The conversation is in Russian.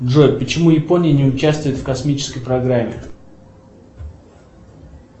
джой почему япония не участвует в космической программе